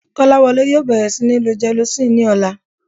Kọ́láwọlé yóò bẹ̀rẹ̀ sí níí lo gelocin ní ọ̀la